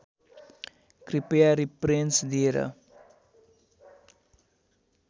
कृपया रिप्रेन्स दिएर